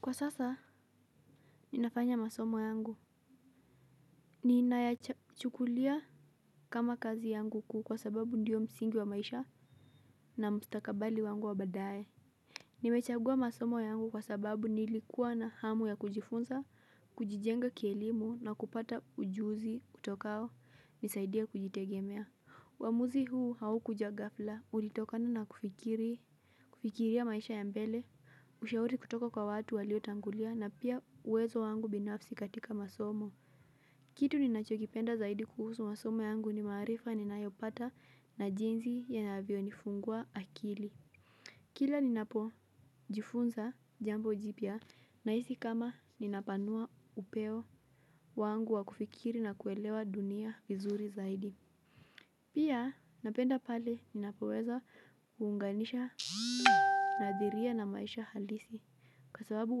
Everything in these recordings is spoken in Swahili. Kwa sasa, ninafanya masomo yangu. Ninayachukulia kama kazi yangu kuu kwa sababu ndiyo msingi wa maisha na mstakabali wangu wa badae. Nimechagua masomo yangu kwa sababu nilikuwa na hamu ya kujifunza, kujijenga kielimu na kupata ujuzi kutokao nisaidia kujitegemea. Uamuzi huu haukuja ghafla, ulitokana na kufikiri. Kufikiria maisha ya mbele, ushauri kutoka kwa watu waliotangulia na pia uwezo wangu binafsi katika masomo. Kitu ninachokipenda zaidi kuhusu masomo yangu ni marifa ninayopata na jinsi inavyonifungua akili. Kila ninapojifunza jambo jipya nahisi kama ninapanua upeo wangu wa kufikiri na kuelewa dunia vizuri zaidi. Pia napenda pale ninapoweza kuunganisha nadhiria na maisha halisi kwa sababu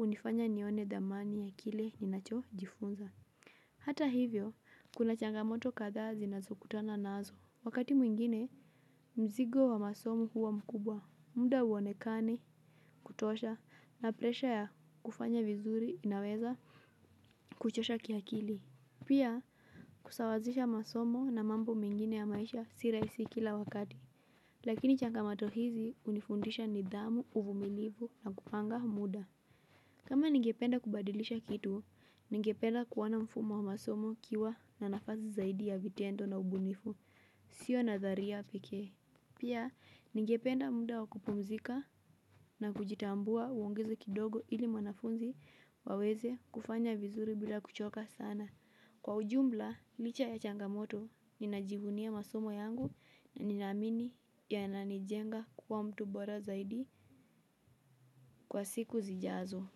unifanya nione dhamani ya kile ninachojifunza. Hata hivyo, kuna changamoto katha zinazokutana nazo. Wakati mwingine, mzigo wa masomo huwa mkubwa. Muda uonekani kutosha na presha ya kufanya vizuri inaweza kuchosha kiakili. Pia kusawazisha masomo na mambo mengine ya maisha si rahisi kila wakati. Lakini changamoto hizi unifundisha nidhamu uvumilivu na kupanga muda. Kama ningependa kubadilisha kitu, ningependa kuona mfumo wa masomo ukiwa na nafasi zaidi ya vitendo na ubunifu. Sio nadharia peke. Pia ningependa muda wa kupumzika na kujitambua uongeze kidogo ili mwanafunzi waweze kufanya vizuri bila kuchoka sana. Kwa ujumla, licha ya changamoto, ninajivunia masomo yangu na ninaamini yananijenga kwa mtu bora zaidi kwa siku zijazo.